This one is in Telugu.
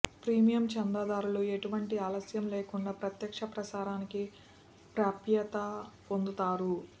ప్రీమియం చందాదారులు ఎటువంటి ఆలస్యం లేకుండా ప్రత్యక్ష ప్రసారానికి ప్రాప్యత పొందుతారు